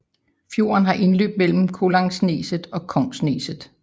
Fjorden har indløb mellem Kollangsneset og Kongsneset